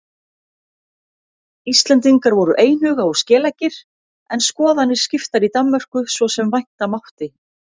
Íslendingar voru einhuga og skeleggir en skoðanir skiptar í Danmörku svo sem vænta mátti.